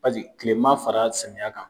tilema fara samiyɛ kan